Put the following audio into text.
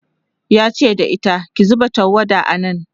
yace da ita "ki zuba tawada a nan!"